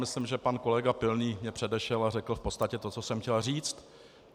Myslím, že pan kolega Pilný mě předešel a řekl v podstatě to, co jsem chtěl říct.